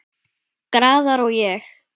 Garðar og ég